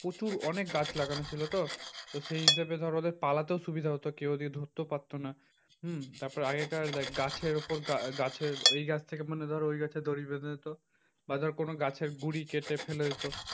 প্রচুর অনেক গাছ লাগানো ছিল তো তো সেই হিসেবে ধর ওদের পালাতেও সুবিধা হতো। কেউ ওদের ধরতেও পারতো না। হম তারপরে আগেকার দেখ গাছের উপর গাছের ওই গাছ থেকে মানে ধর ওই গাছে দড়ি বেঁধে দিতো। বা ধর কোনো গাছের গুড়ি কেটে ফেলে দিতো।